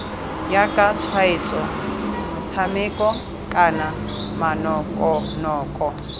jaaka tshwaetso motshameko kana manokonoko